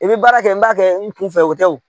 I bɛ baara kɛ n b'a kɛ n kunfɛ o tɛ o.